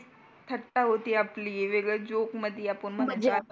थट्टा होती आपली वेगळ जोक मध्ये आपण म्हणून